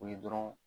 O ye dɔrɔn